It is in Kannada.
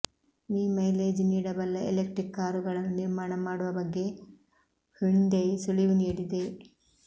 ಮಿ ಮೈಲೇಜ್ ನೀಡಬಲ್ಲ ಎಲೆಕ್ಟ್ರಿಕ್ ಕಾರುಗಳನ್ನು ನಿರ್ಮಾಣ ಮಾಡುವ ಬಗ್ಗೆ ಹ್ಯುಂಡೈ ಸುಳಿವು ನೀಡಿದೆ